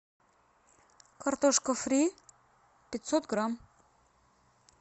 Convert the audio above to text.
картошка фри пятьсот грамм